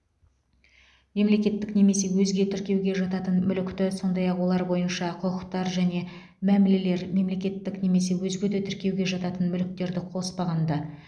мемлекеттік немесе өзге тіркеуге жататын мүлікті сондай ақ олар бойынша құқықтар және мәмілелер мемлекеттік немесе өзге де тіркеуге жататын мүліктерді қоспағанда